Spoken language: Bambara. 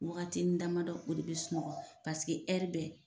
Wagatini damadɔ o de bɛ sunɔgɔ paseke hɛri bɛɛ